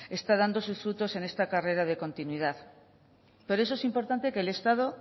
está dando sus frutos en esta carrera de continuidad por eso es importante que el estado